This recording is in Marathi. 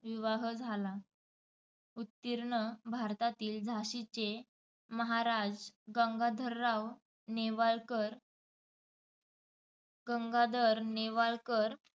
विवाह झाला. उत्तिर्ण भारतातील झाशीचे महाराज गंगाधरराव नेवाळकर गंगाधर नेवाळकर